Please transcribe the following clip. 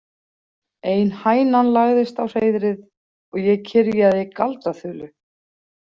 Ein hænan lagðist á hreiðrið og ég kyrjaði galdraþulu.